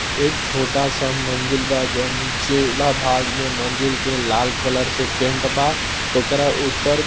एक छोटा-सा मंदिर बा जोन नीचे ला भाग में मंदिर के लाल कलर से पेंट बा। ओकरा ऊपर --